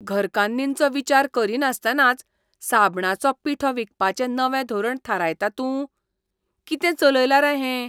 घरकान्नींचो विचार करिनासतनाच साबणाचो पिठो विकपाचें नवें धोरण थारायता तूं? कितें चलयलां रे हें?